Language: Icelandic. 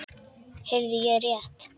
Heyrði ég rétt.